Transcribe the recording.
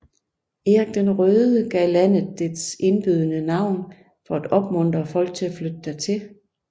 Erik den Røde gav landet dets indbydende navn for at opmuntre folk til at flytte dertil